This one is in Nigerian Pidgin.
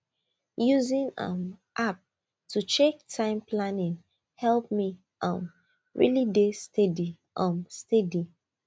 using um app to check time planning help me um really dey steady um steady